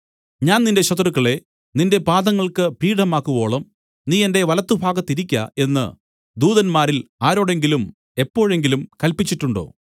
ഞാൻ നിന്റെ ശത്രുക്കളെ നിന്റെ പാദങ്ങൾക്ക് പീഠമാക്കുവോളം നീ എന്റെ വലത്തുഭാഗത്തിരിക്ക എന്നു ദൂതന്മാരിൽ ആരോടെങ്കിലും എപ്പോഴെങ്കിലും കല്പിച്ചിട്ടുണ്ടോ